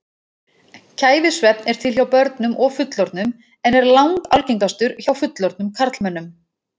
Kæfisvefn er til hjá börnum og fullorðnum en er langalgengastur hjá fullorðnum karlmönnum.